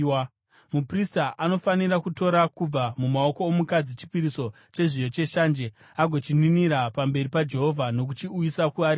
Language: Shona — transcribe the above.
Muprista anofanira kutora kubva mumaoko omukadzi chipiriso chezviyo cheshanje, agochininira pamberi paJehovha nokuchiuyisa kuaritari.